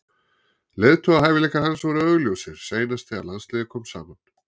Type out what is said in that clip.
Leiðtogahæfileikar hans voru augljósir seinast þegar landsliðið kom saman.